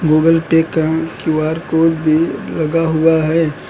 Google pay का Q R code भी लगा हुआ है।